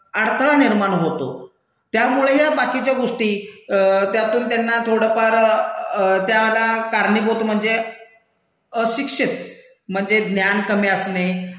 अडथळा निर्माण होतो, त्यामुळे या बाकीच्या गोष्टी त्यातून त्यांना थोडं फार त्याला कारणीभूत म्हणजे अशिक्षित म्हणजे ज्ञान कमी असणे